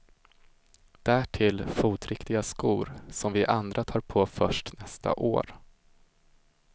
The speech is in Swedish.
Därtill fotriktiga skor, som vi andra tar på först nästa år.